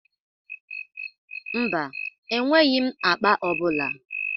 Mba, enweghị m akpa ọ bụla.